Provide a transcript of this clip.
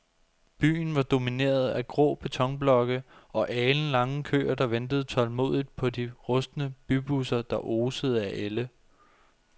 Byen var domineret af grå betonblokke og alenlange køer, der ventede tålmodigt på de rustne bybusser, der osede af ælde.